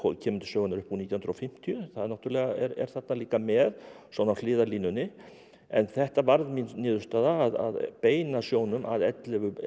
kemur til sögunnar upp úr nítján hundruð og fimmtíu það náttúrulega er líka með svona á hliðarlínunni en þetta varð mín niðurstaða að beina sjónum að ellefu